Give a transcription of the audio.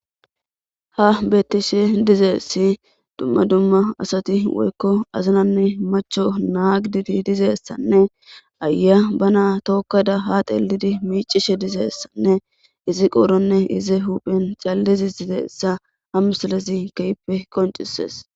ha bettishe dizaassi dumma dumma asati woykko azinanne macho naa giididi dizaysanne ayiya bana tookkada ha xeelidi miicishe dizeessanne izi qooronne ize huphen challezi dizayssa ha misilezi kehippe qoncisees